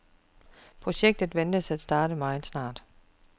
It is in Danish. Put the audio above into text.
Projektet ventes at starte meget snart.